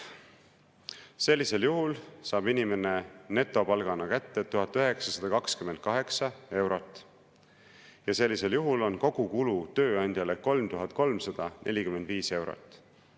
Sellisel juhul saab inimene netopalgana kätte 1928 eurot ja sellisel juhul on kogukulu tööandjale 3345 eurot.